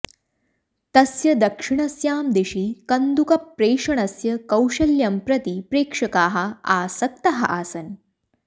तस्य दक्षिणस्यां दिशि कन्दुकप्रेषणस्य कौशल्यं प्रति प्रेक्षकाः आसक्ताः आसन्